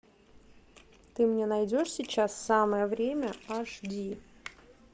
ты мне найдешь сейчас самое время аш ди